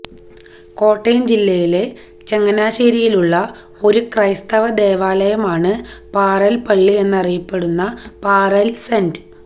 കോട്ടയം ജില്ലയിലെ ചങ്ങനാശ്ശേരിയിലുള്ള ഒരു ക്രൈസ്തവ ദേവാലയമാണ് പാറേൽ പള്ളി എന്നറിയപ്പെടുന്ന പാറേൽ സെന്റ്